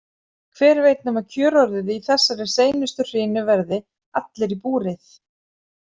Hver veit nema kjörorðið í þessari seinustu hrinu verði: Allir í búrið?